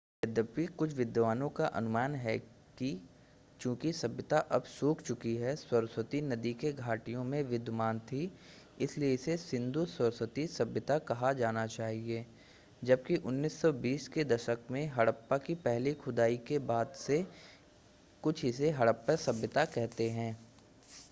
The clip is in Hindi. यद्यपि कुछ विद्वानों का अनुमान है कि चूंकि सभ्यता अब सूख चुकी सरस्वती नदी के घाटियों में विद्यमान थी इसलिए इसे सिंधु-सरस्वती सभ्यता कहा जाना चाहिए जबकि 1920 के दशक में हड़प्पा की पहली खुदाई के बाद से कुछ इसे हड़प्पा सभ्यता कहते हैं